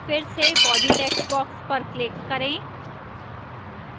फिर से body textbox पर click करें